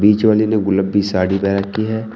बीच वाली ने गुलाबी साड़ी पहन रखी है।